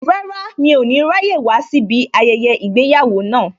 Rárá, mi ò ní ráyè wá síbí ayẹyẹ ìgbéyàwó náà